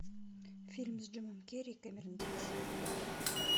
фильм с джимом керри и кэмерон диаз